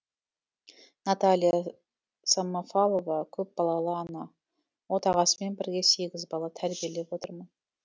наталья самофалова көпбалалы ана отағасымен бірге сегіз бала тәрбиелеп отырмын